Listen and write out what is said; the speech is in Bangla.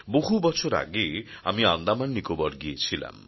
বহু বছর আগে আমি আন্দামান নিকোবর গিয়েছিলাম